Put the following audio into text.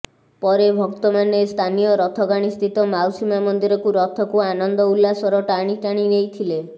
ପରେ ଭକ୍ତମାନେ ସ୍ଥାନୀୟ ରଥଗାଣୀସ୍ଥିତ ମାଉସୀମା ମନ୍ଦିରକୁ ରଥକୁ ଆନନ୍ଦ ଉଲ୍ଲାସର ଟାଣି ଟାଣି ନେଇଥିଲେ